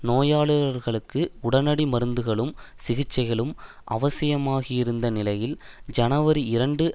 நோயாளர்களுக்கு உடனடி மருந்துகளும் சிகிச்சைகளும் அவசியமாகியிருந்த நிலையில் ஜனவரி இரண்டு